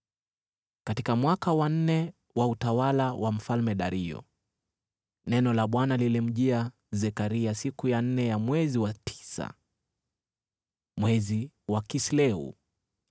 Katika mwaka wa nne wa utawala wa Mfalme Dario, neno la Bwana lilimjia Zekaria siku ya nne ya mwezi wa tisa, mwezi wa Kisleu.